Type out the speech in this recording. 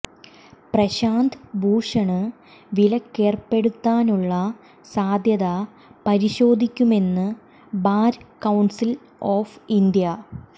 പ്രശാന്ത് ഭൂഷണ് വിലക്കേര്പ്പെടുത്താനുള്ള സാധ്യത പരിശോധിക്കുമെന്ന് ബാര് കൌണ്സില് ഓഫ് ഇന്ത്യ